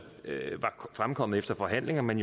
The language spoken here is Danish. er fremkommet efter forhandlinger men